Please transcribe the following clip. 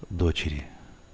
дочери